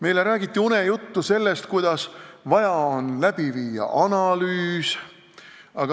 Eile räägiti unejuttu, et vaja on läbi viia analüüs.